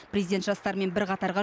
президент жастармен бір қатарға